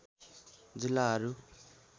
जिल्लाहरू